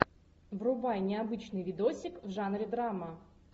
врубай необычный видосик в жанре драма